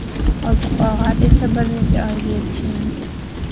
Oziq-ovqat esa bir necha oyga yetishi mumkin.